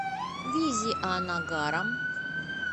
визианагарам